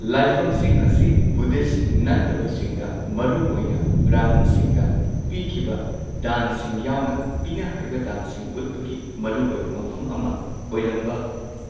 ꯂꯥꯏꯐꯝꯁꯤꯡ ꯑꯁꯤ ꯕꯨꯗꯙꯤꯁꯠ ꯅꯠꯇꯕꯁꯤꯡꯗ ꯃꯔꯨꯑꯣꯏꯅ ꯕ꯭ꯔꯍꯃꯟꯁꯤꯡꯗ ꯄꯤꯈꯤꯕ ꯗꯥꯟꯁꯤꯡ ꯌꯥꯎꯅ ꯄꯤꯅꯍꯩꯕ ꯗꯥꯟꯁꯤꯡ ꯎꯠꯄꯒꯤ ꯃꯔꯨꯑꯣꯏꯕ ꯃꯐꯝ ꯑꯃ ꯑꯣꯏꯔꯝꯕ